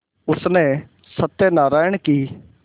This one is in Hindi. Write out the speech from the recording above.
उसने सत्यनाराण की